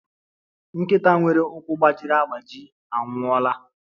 Nkịta nwere ụkwụ gbajiri agbaji anwụọla